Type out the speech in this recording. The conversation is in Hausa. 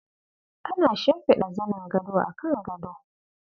Ana shimfiɗa zanin gado akan gado.